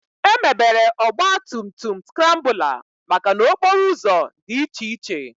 Emebere Ọgba tum tum skrambụla maka n'okporo ụzọ dị iche iche